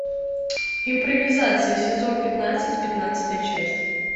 импровизация сезон пятнадцать пятнадцатая часть